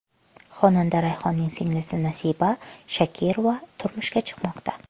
Xonanda Rayhonning singlisi Nasiba Shakirova turmushga chiqmoqda.